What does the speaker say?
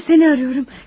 Saatlerdir səni arıyorum.